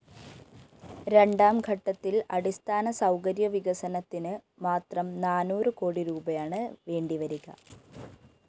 രണ്ടാംഘട്ടത്തില്‍ അടിസ്ഥാന സൗകര്യവികസനത്തിന് മാത്രം നാനൂറ് കോടിരൂപയാണ് വേണ്ടി വരിക